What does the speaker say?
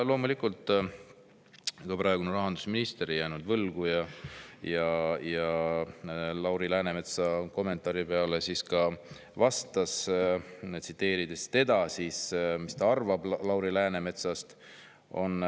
Loomulikult, ega praegune rahandusminister ei jäänud võlgu ning Lauri Läänemetsa kommentaari peale vastas, mis ta Lauri Läänemetsast arvab.